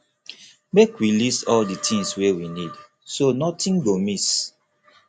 make we list all di tins wey we need so notin go miss